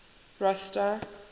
rosta